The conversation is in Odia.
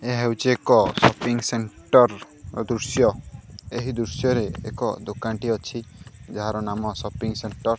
ଏହା ହେଉଚି ଏକ ସପିଙ୍ଗ ସେଣ୍ଟର ଓ ଦୃଶ୍ୟ ଏହି ଦୃଶ୍ୟ ରେ ଏକ ଦୋକାନ ଟିଏ ଅଛି ଯାହାର ନାମ ସପିଙ୍ଗ ସେଣ୍ଟର୍ ।